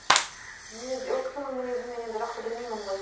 мінез ол кісінің мінезін мен енді жақсы білмеймін ғой